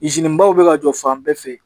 baw bɛ ka jɔ fan bɛɛ fɛ